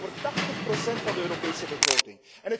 Het gaat hier over 80 procent van de Europese begroting.